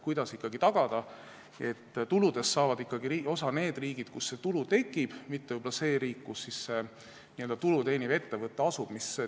Kuidas ikkagi tagada, et tuludest saaksid osa need riigid, kus see tulu tekib, mitte võib-olla see riik, kus tulu teeniv ettevõte asub?